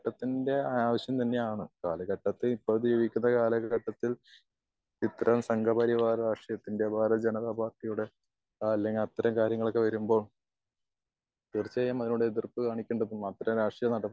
ഘട്ടത്തിൽ ഇത്തരം സംഘ പരിവാർ രാഷ്ട്രീയ ത്തിന്റെ വേറെ ഒരു ജനത പാർട്ടിയുടെ അല്ലെങ്കിൽ അത്തരം കാര്യങ്ങൾ ഒക്കെ വരുമ്പോൾ തീർച്ചയായും അതിനോട് എതിർപ്പ് കാണിക്കേണ്ട അത്തരം രാഷ്ട്രീയ